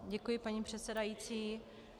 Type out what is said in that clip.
Děkuji, paní předsedající.